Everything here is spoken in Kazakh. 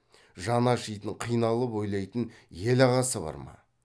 жаны ашитын қиналып ойлайтын ел ағасы бар ма